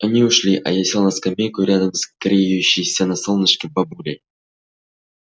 они ушли а я сел на скамейку рядом с греющейся на солнышке бабулей